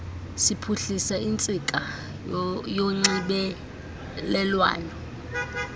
siphuhlisa intsika yonxibelelwano